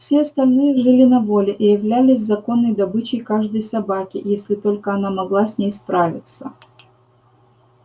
все остальные жили на воле и являлись законной добычей каждой собаки если только она могла с ней справиться